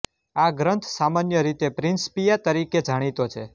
આ ગ્રંથ સામાન્ય રીતે પ્રિન્સિપિયા તરીકે જાણીતો છે